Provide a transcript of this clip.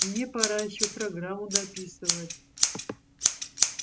мне пора ещё программу дописывать